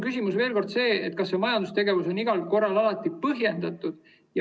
Küsimus on selles, kas see majandustegevus on igal korral alati põhjendatud.